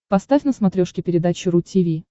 поставь на смотрешке передачу ру ти ви